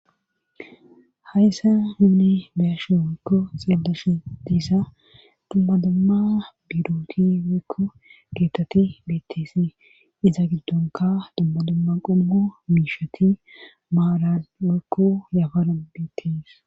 hayssa huuni beyashe weykko xeelashedisa dummadumma birooti weekko geetati bitesi iza giddonka dumma dumma qomgu miishati maaran wekko yafaran bittes